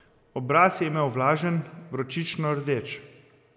Obraz je imel vlažen, vročično rdeč.